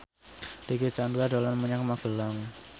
Dicky Chandra dolan menyang Magelang